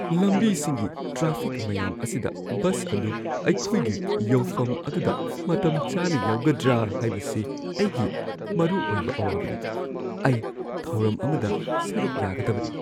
ꯂꯝꯕꯤꯁꯤꯡꯒꯤ traffic ꯃꯌꯥꯝ ꯑꯁꯤꯗ bus ꯑꯗꯨ ꯑꯩꯈꯣꯏꯒꯤ ꯌꯧꯐꯝ ꯑꯗꯨꯗ ꯃꯇꯝꯆꯥꯅ ꯌꯧꯒꯗ꯭ꯔꯥ ꯍꯥꯏꯕꯁꯤ ꯑꯩꯒꯤ ꯃꯔꯨꯑꯣꯏꯕ ꯑꯋꯥꯕꯅꯤ꯫ ꯑꯩ ꯊꯧꯔꯝ ꯑꯃꯗ ꯁꯔꯨꯛ ꯌꯥꯒꯗꯕꯅꯤ꯫